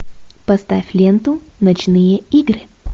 поставь ленту ночные игры